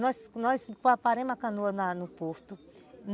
Nós nós paramos a canoa na no porto.